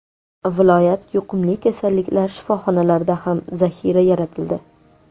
Viloyat yuqumli kasalliklar shifoxonalarida ham zaxira yaratildi.